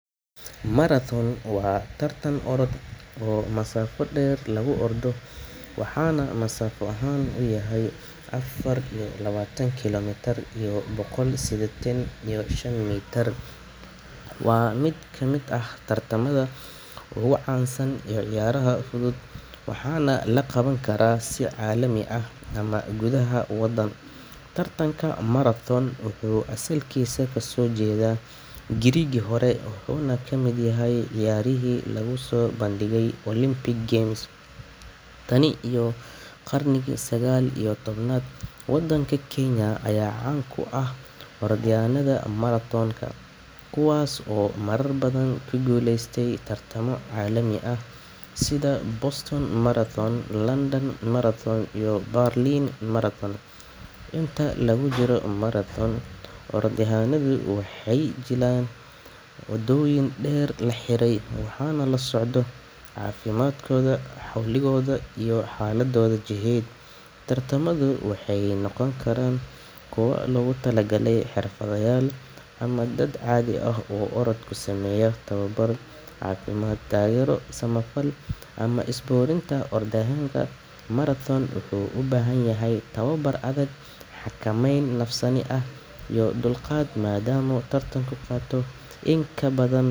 Marathon waa tartan orod oo masaafo dheer lagu ordo, waxaana masaafo ahaan uu yahay afar iyo labaatan kiiloomitir iyo boqol siddeetan iyo shan mitir. Waa mid ka mid ah tartamada ugu caansan ee ciyaaraha fudud, waxaana la qaban karaa si caalami ah ama gudaha waddan. Tartanka marathon wuxuu asalkiisa ka soo jeedaa Giriiggii hore, wuxuuna ka mid yahay ciyaarihii lagu soo bandhigay Olympic Games tan iyo qarnigii sagaal iyo tobnaad. Waddanka Kenya ayaa caan ku ah orodyahannada marathon-ka kuwaas oo marar badan ku guuleystay tartamo caalami ah sida Boston Marathon, London Marathon, iyo Berlin Marathon. Inta lagu jiro marathon, orodyahannadu waxay maraan waddooyin dheer oo la xiray, waxaana la socdo caafimaadkooda, xawligooda, iyo xaaladdooda jidheed. Tartamadu waxay noqon karaan kuwo loogu talagalay xirfadlayaal ama dad caadi ah oo orodka u sameeya tababar caafimaad, taageero samafal, ama isboorti. Oradyahanka marathon wuxuu u baahan yahay tababar adag, xakameyn nafsaani ah, iyo dulqaad maadaama tartanku qaato in ka badan.